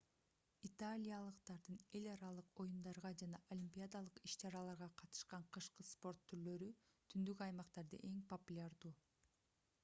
италиялыктардын эл аралык оюндарга жана олимпиадалык иш-чараларга катышкан кышкы спорт түрлөрү түндүк аймактарда эң популярдуу